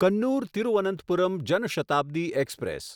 Kannur Thiruvananthapuram Jan Shatabdi express